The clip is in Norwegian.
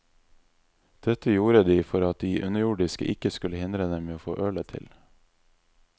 Dette gjorde de for at de underjordiske ikke skulle hindre dem å få ølet til.